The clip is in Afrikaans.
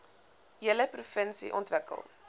hele provinsie ontwikkel